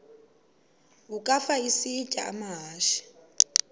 ukafa isitya amahashe